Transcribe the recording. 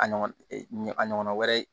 A ɲɔgɔn a ɲɔgɔnna wɛrɛ